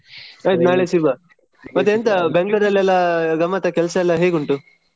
ಸರಿ ನಾಳೆ ಸಿಗುವ ಮತ್ತೆಂತ Bangalore ಅಲ್ಲಿ ಎಲ್ಲಾ ಗಮ್ಮತಾ ಕೆಲಸ ಎಲ್ಲಾ ಹೇಗುಂಟು.